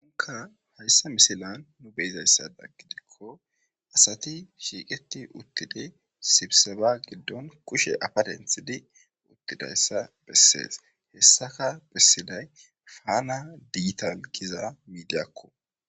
unka hayssa misilan nu beyzayssada gidikko asati shiiqeti uttidi sibseba giddon kushe apadenthidi uttidayssa bessees hessaka bessiday faana digital gizara miidiyakko